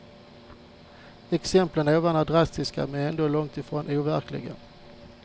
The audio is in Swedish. Exemplen ovan är drastiska men ändå långt ifrån overkliga.